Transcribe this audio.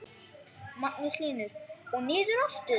Magnús Hlynur: Og niður aftur?